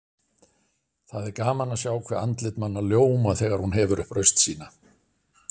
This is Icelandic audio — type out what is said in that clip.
Það er gaman að sjá hve andlit manna ljóma þegar hún hefur upp raust sína.